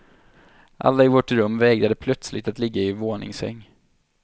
Alla i vårt rum vägrade plötsligt att ligga i våningssäng.